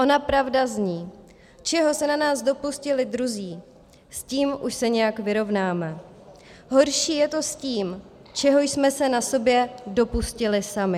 Ona pravda zní: "Čeho se na nás dopustili druzí, s tím už se nějak vyrovnáme, horší je to s tím, čeho jsme se na sobě dopustili sami."